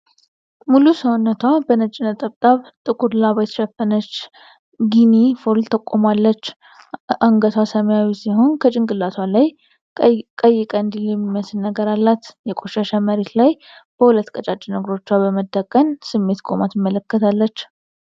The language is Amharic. ሙሉ ሰውነቷ በነጭ ነጠብጣብ ጥቁር ላባ የተሸፈነች ጊኒ ፎል ቆማለች። አንገቷ ሰማያዊ ሲሆን ከጭንቅላቷ ላይ ቀይ ቀንዲል የሚመስል ነገር አላት። በቆሸሸ መሬት ላይ በሁለት ቀጫጭን እግሮቿ በመደነቅ ስሜት ቆማ ትመለከታለች።